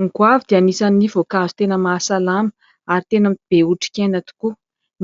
Ny goavy dia anisan'ny voankazo tena mahasalama ary tena be otrikaina tokoa,